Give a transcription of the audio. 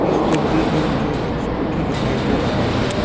इस तस्वीर में मुझे एक स्कूटी दिखाई दे रहा है।